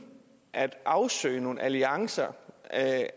at afsøge nogle alliancer